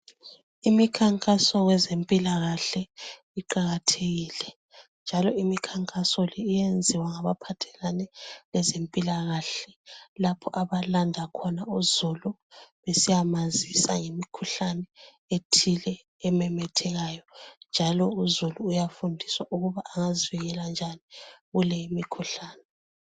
Imikhankaso yezempilakahle iqakathekile njalo imikhankaso le iyenziwa ngabaphathelane lezempilakahle lapho abalanda khona uzulu besiyamazisa ngemikhuhlane ethile ememethekayo njalo uzulu uyafundiswa ukuba engazivikela njani kule imikhuhlane.